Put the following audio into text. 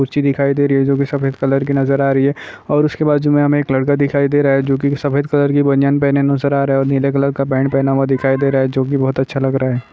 कूर्चि दिखाई दे रही है जो की सफ़ेद कलर की नजर आ रही है और उसके बाजू में हमे एक लड़का दिखाई दे रहा है जो की साफेद कलर की बनियान पहने नूसर आरहा है और नीले कलर पँन्ट पहना हुआ दिखाई दे रहा है जो की बहुत अच्छा लग रहा है।